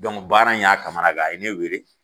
baara in y'a kamananguwan a ye ne weele.